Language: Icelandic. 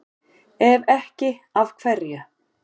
Ef ekki, af hverju?